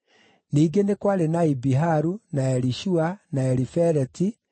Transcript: Ningĩ nĩ kwarĩ na Ibiharu, na Elishua, na Elifeleti,